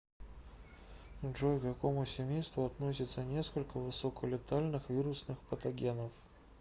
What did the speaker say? джой к какому семейству относятся несколько высоколетальных вирусных патогенов